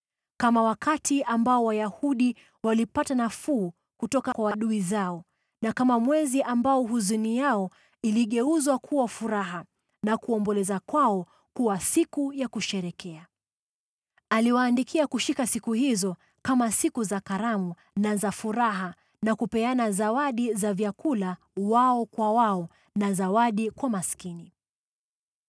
kama wakati ambao Wayahudi walipata nafuu kutoka kwa adui zao na kama mwezi ambao huzuni yao iligeuzwa kuwa furaha na kuomboleza kwao kuwa siku ya kusherehekea. Aliwaandikia kushika siku hizo kama siku za karamu na za furaha na kupeana zawadi za vyakula wao kwa wao na zawadi kwa maskini.